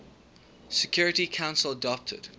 security council adopted